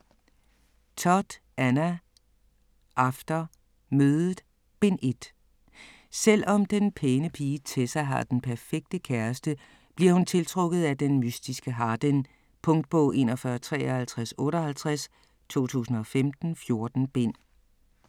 Todd, Anna: After: Mødet: Bind 1 Selvom den pæne pige Tessa har den perfekte kæreste, bliver hun tiltrukket af den mystiske Hardin. Punktbog 415358 2015. 14 bind.